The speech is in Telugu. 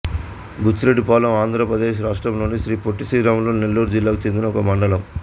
బుచ్చిరెడ్డిపాళెం ఆంధ్ర ప్రదేశ్ రాష్ట్రములోని శ్రీ పొట్టి శ్రీరాములు నెల్లూరు జిల్లాకు చెందిన ఒక మండలం